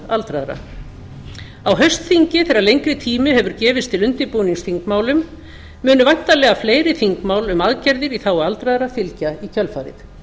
aldraðra á haustþingi þegar lengri tími hefur gefist til undirbúnings þingmálum munu væntanlega fleiri þingmál um aðgerðir í þágu aldraðra fylgja í kjölfarið